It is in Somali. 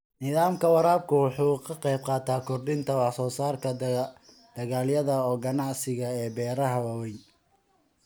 Nidaamka waraabku wuxuu ka qaybqaataa kordhinta wax-soo-saarka dalagyada ganacsiga ee beeraha waaweyn.